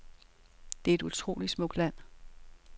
Det er et utroligt smukt land.